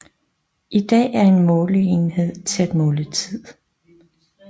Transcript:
En dag er en målenhed til at måle tid